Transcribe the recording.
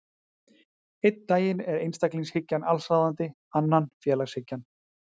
Einn daginn er einstaklingshyggjan allsráðandi, annan félagshyggjan.